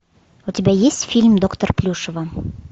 у тебя есть фильм доктор плюшева